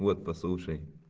вот послушай